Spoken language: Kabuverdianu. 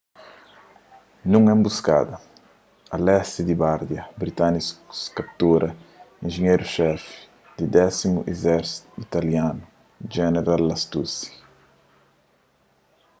nun enbuskada a lesti di bardia britânikus kaptura enjenheru-xefi di 10º izérsitu italianu jeneral lastucci